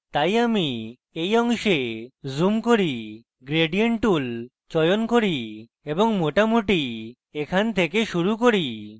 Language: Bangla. তাই আমি এই অংশে zoom করি আমি gradient tool চয়ন করি এবং মোটামুটি এখান থেকে শুরু করি